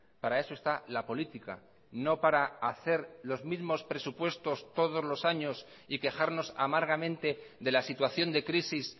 para eso está la política no para hacer los mismos presupuestos todos los años y quejarnos amargamente de la situación de crisis